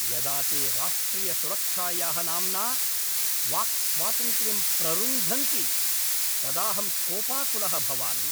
यदा ते राष्ट्रियसुरक्षायाः नाम्ना वाक्स्वातन्त्र्यं प्ररुन्धन्ति तदाहं कोपाकुलः भवामि।